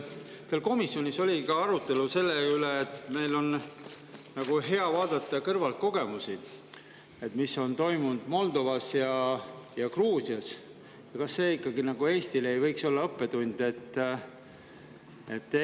Kas teil komisjonis oli ka arutelu selle üle, et meil on hea vaadata kõrvalt teiste kogemusi, seda, mis on toimunud Moldovas ja Gruusias, ja kas see ikkagi ei võiks olla Eestile õppetund?